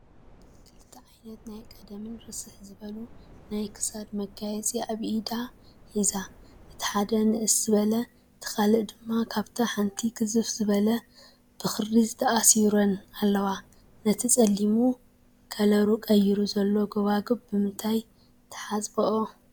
ክልተ ዓይነት ናይ ቀደምን ርስሕ ዝበሉን ናይ ክሳድ መጋየፂ ኣብ ኢዳ ሒዛ ፡፡ እቲ ሓደ ንእስ ዝበለ እቲ ካሊእ ድማ ካብታ ሓንቲ ግዝፍ ዝበለት ብኽሪ ተኣሲረን ኣለዋ፡፡ ነቲ ፀሊሙ ከለሩ ቀይሩ ዘሎ ጎባጉብ ብምንታይ ትሓፅብኦ?